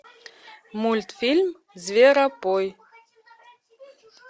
мультфильм зверопой